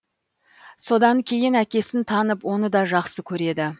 содан кейін әкесін танып оны да жақсы көреді